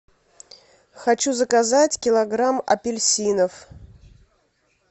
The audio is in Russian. хочу заказать килограмм апельсинов